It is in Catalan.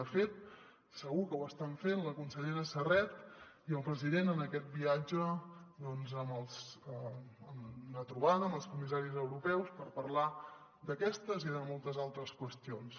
de fet segur que ho estan fent la consellera serret i el president en aquest viatge doncs en una trobada amb els comissaris europeus per parlar d’aquestes i de moltes altres qüestions